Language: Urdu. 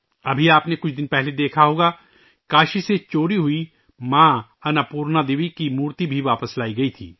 ابھی آپ نے کچھ دن پہلے دیکھا ہوگا کہ کاشی سے چوری ہونے والی ماں اناپورنا دیوی کی مورتی بھی واپس لائی گئی تھی